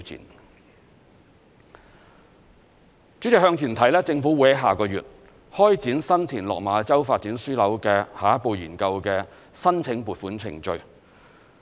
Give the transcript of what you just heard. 代理主席，向前看，政府會在下個月開展新田/落馬洲發展樞紐的下一步研究的申請撥款程序。